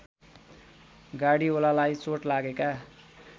गार्डीओलालाई चोट लागेका